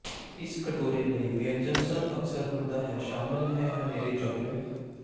ਇਸ ਕਟੋਰੇ ਲਈ ਵਿਅੰਜਨ ਸਭ ਅਕਸਰ ਹੁੰਦਾ ਹੈ ਸ਼ਾਮਲ ਹੈ ਹਨੇਰੇ ਚਾਕਲੇਟ